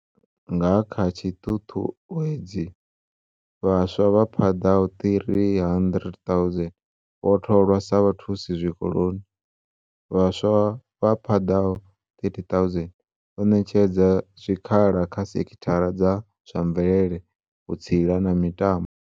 Nga kha tshiṱuṱuwedzi, vhaswa vha paḓaho 300 000 vho tholwa sa vhathusi zwikoloni. Vhaswa vha paḓaho 30 000 vho ṋetshedzwa zwikhala kha sekhi thara dza zwa mvelele, vhu tsila na mitambo.